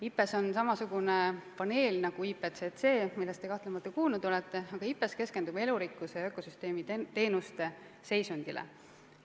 IPBES on samasugune paneel nagu IPCC, millest te kahtlemata kuulnud olete, aga IPBES keskendub elurikkuse ja ökosüsteemi teenuste seisundile.